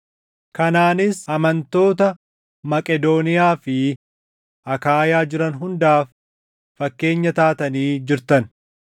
Kanaanis amantoota Maqedooniyaa fi Akaayaa jiran hundaaf fakkeenya taatanii jirtan.